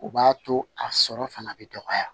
O b'a to a sɔrɔ fana bɛ dɔgɔya